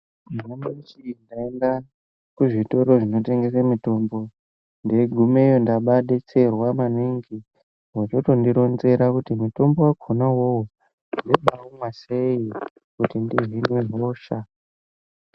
Nyamashi ndaenda kuzvitoro zvinotengesa mutombo ndigumeyo ndababetserwa maningi. Vochoto ndironzera kuti mutombo vakona vovo ndino baumwa sei kuti ndihinwe hosha.